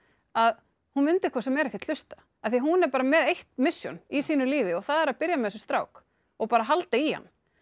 að hún mundi hvort sem er ekkert hlusta af því hún er með eitt mission í sínu lífi að byrja með þessum strák og halda í hann